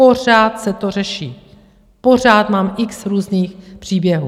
Pořád se to řeší, pořád mám x různých příběhů.